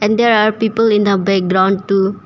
And there are people in the background too.